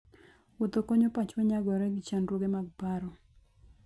Wuotho konyo pachwa nyagore gi chandruoge mag paro.